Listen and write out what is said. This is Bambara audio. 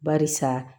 Barisa